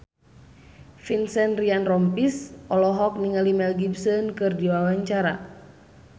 Vincent Ryan Rompies olohok ningali Mel Gibson keur diwawancara